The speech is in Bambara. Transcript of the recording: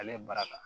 Ale ye bara ta